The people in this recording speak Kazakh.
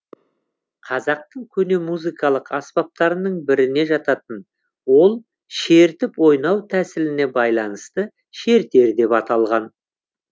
қазақтың көне музыкалық аспаптарының біріне жататын ол шертіп ойнау тәсіліне байланысты шертер деп аталған